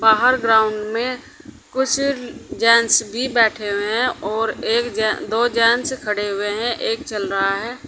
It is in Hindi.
बाहर ग्राउंड में कुछ जेन्स भी बैठे हुए हैं और एक जेन्स दो जेन्स खड़े हुए हैं और एक चल रहा है।